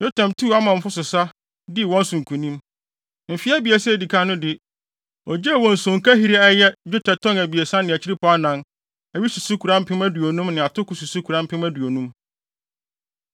Yotam tuu Amonfo so sa, dii wɔn so nkonim. Mfe abiɛsa a edi kan no de, ogyee wɔn sonkahiri a ɛyɛ dwetɛ tɔn 3.4, awi susukoraa mpem aduonum ne atoko susukoraa mpem aduonum.